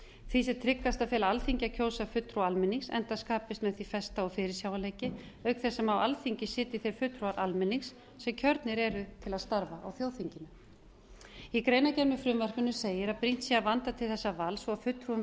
því sé tryggast að fela alþingi að kjósa fulltrúa almennings enda skapist með því festa og fyrirsjáanleiki auk þess sem á alþingi sitji þeir fulltrúar almennings sem kjörnir eru til að starfa á þjóðþinginu í greinargerð með frumvarpinu segir að brýnt sé að vanda til þessa vals og fulltrúi